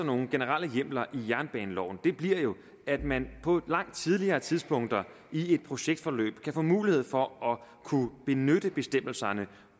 nogle generelle hjemler i jernbaneloven bliver jo at man på et langt tidligere tidspunkt i et projektforløb kan få mulighed for at benytte bestemmelserne